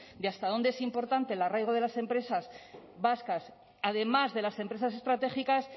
de hasta dónde es importante el arraigo de las empresas vascas además de las empresas estratégicas